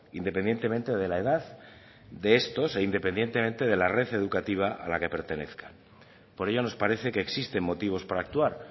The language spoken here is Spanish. independientemente de la edad de estos e independientemente de la red educativa a la que pertenezcan por ello nos parece que existen motivos para actuar